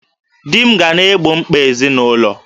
Di m ga na-egbo mkpa ezinụlọ